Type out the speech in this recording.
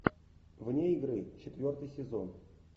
вне игры четвертый сезон